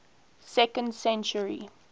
second century